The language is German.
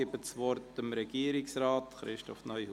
Ich gebe das Wort dem Regierungsrat, Christoph Neuhaus.